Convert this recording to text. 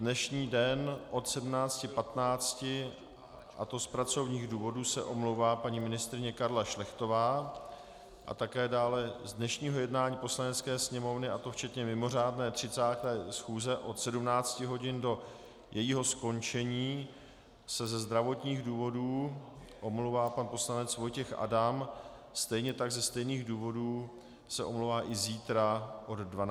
Dnešní den od 17.15, a to z pracovních důvodů, se omlouvá paní ministryně Karla Šlechtová a také dále z dnešního jednání Poslanecké sněmovny, a to včetně mimořádné 30. schůze od 17 hodin do jejího skončení, se ze zdravotních důvodů omlouvá pan poslanec Vojtěch Adam, stejně tak, ze stejných důvodů, se omlouvá i zítra od 12 hodin.